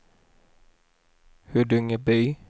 Huddungeby